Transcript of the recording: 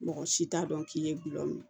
Mɔgɔ si t'a dɔn k'i ye gulɔ min